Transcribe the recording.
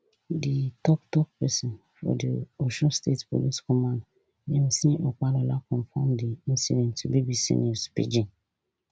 di toktok pesin for di osun state police command yemisi opalola confam di incident to bbc news pidgin